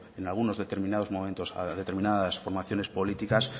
en algunos determinados momentos a determinadas formaciones políticas